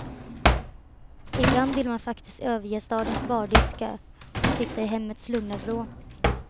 Ibland vill man faktiskt överge stadens bardiskar och sitta i hemmets lugna vrå.